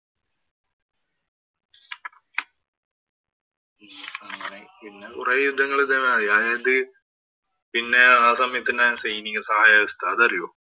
അങ്ങനെ പിന്നെകൊറേ യുദ്ധങ്ങള്‍ ഇതേ മാതിരി. അതിനകത്ത് ആ സമയത്ത് തന്നെ ആയിരുന്നു സൈനിക സഹായ വ്യവസ്ഥ. അതറിയോ?